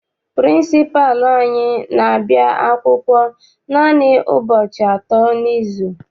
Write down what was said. Pịrịnsịpalụ anyị n'abia akwụkwọ naanị ụbọchị atọ n'izu.